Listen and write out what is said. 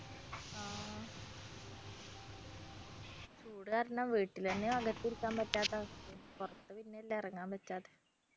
ചൂടു കാരണം വീട്ടിൽ തന്നെ അകത്തിരിക്കാൻ പറ്റാത്ത അവസ്ഥയാണ് പുറത്തു പിന്നെയല്ലേ ഇറങ്ങാൻ പറ്റാത്തെ